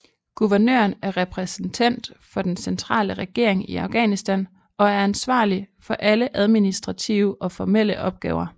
Guvernøren er repræsentent for den centrale regering i Afghanistan og er ansvarlig for alle administrative og formelle opgaver